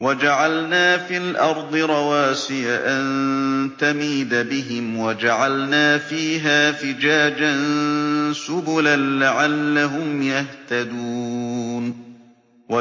وَجَعَلْنَا فِي الْأَرْضِ رَوَاسِيَ أَن تَمِيدَ بِهِمْ وَجَعَلْنَا فِيهَا فِجَاجًا سُبُلًا لَّعَلَّهُمْ يَهْتَدُونَ